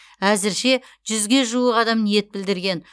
әзірше жүзге жуық адам ниет білдірген